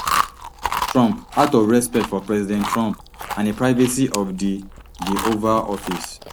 trump out of respect for president trump and di privacy of di di oval office